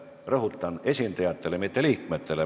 Rõhutan: esindajatele, mitte liikmetele.